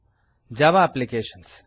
Java applications